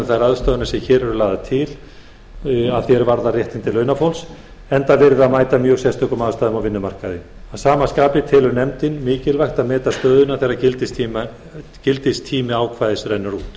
þær ráðstafanir sem lagðar eru til að því er varðar réttindi launafólks enda verið að mæta mjög sérstökum aðstæðum á vinnumarkaði að sama skapi telur nefndin mikilvægt að meta stöðuna þegar gildistími ákvæðis